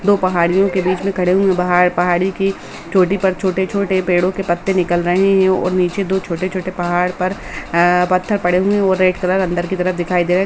दो पहाड़ियों के बीच में खड़े हुए हैं बाहर पहाड़ी की चोटी पर छोटे-छोटे पेड़ो के पत्ते निकल रहे हैं और नीचे दो छोटे-छोटे पहाड़ पर आ पत्थर पड़े हुए है और दो रेड कलर अंदर कि तरफ दिखाई दे --